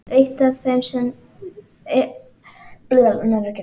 Eitt af þeim eru samskipti barnanna í nýju fjölskyldunni.